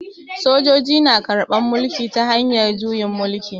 Sojoji na karban mulki ta hanyar juyin mulki.